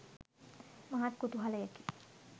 මහත් කුතුහලයකි.